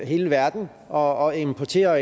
hele verden og importerer